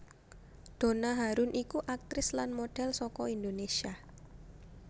Donna Harun iku aktris lan modhel saka Indonesia